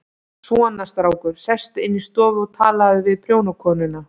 Svona, strákur, sestu inn í stofu og talaðu við prjónakonuna.